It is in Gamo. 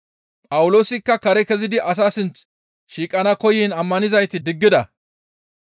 Phawuloosikka kare kezidi asaa sinth shiiqana koyiin ammanizayti diggida.